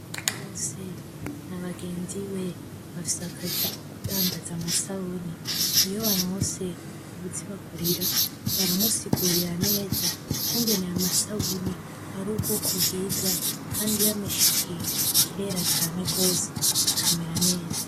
Basa bose nabagenzi be bafise akazi kokundandaza amasabuni. Iyo baronse uwuzibagurira, baramusigurira neza ukungene ayo masabuni ari ubwoko bwiza kandi yameshe ikintu kirera cane rwose kikamera neza.